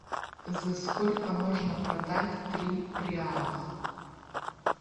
за сколько можно продать три реалах